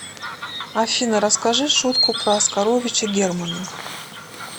афина расскажи шутку про оскаровича германа